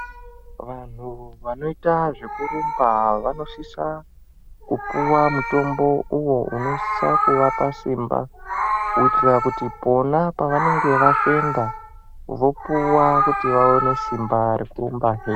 Vanhu vanoita zveku rumba vano sisa kupuwa mutombo uwo unosisa kuvapa simba kuitira kuti pona pa vanenge vafenda vopuwa kuti vaone simba reku rumba .